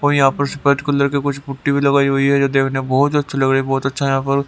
और यहां पर सफेद कलर के कुछ पुट्टी भी लगाई हुई है जो देखने बहुत अच्छी लग रही है बहुत अच्छा यहां पर--